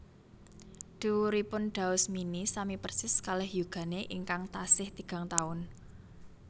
Dhuwuripun Daus Mini sami persis kalih yugane ingkang tasih tigang taun